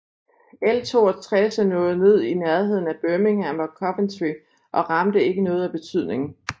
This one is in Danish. L 62 nåede ned i nærheden af Birmingham og Coventry og ramte ikke noget af betydning